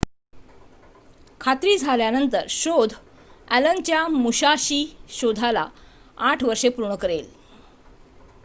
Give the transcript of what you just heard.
खात्री झाल्यास शोध अॅलनच्या मुसाशीच्या शोधाला ८ वर्षे पूर्ण करेल